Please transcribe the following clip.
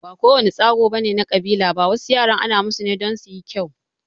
Ba ko wane tsagu ne na kabila ba, wasu yaran ana musu tsagu ne don suyi kyau.